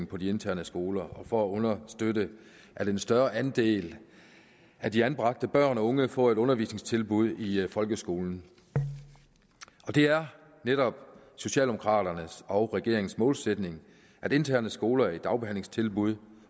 på de interne skoler og for at understøtte at en større andel af de anbragte børn og unge får et undervisningstilbud i folkeskolen det er netop socialdemokraternes og regeringens målsætning at interne skoler i dagbehandlingstilbud